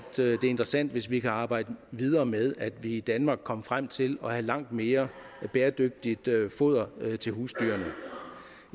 interessant hvis vi kan arbejde videre med at vi i danmark kom frem til at have langt mere bæredygtigt foder til husdyrene